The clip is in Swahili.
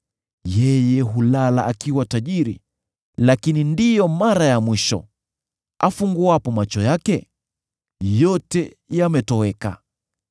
Yeye hulala akiwa tajiri, lakini ndiyo mara ya mwisho; afunguapo macho yake, yote yametoweka.